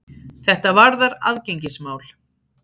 Þetta varðar aðgengismál.